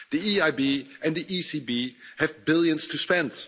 The EIB and the ECB have billions to spend.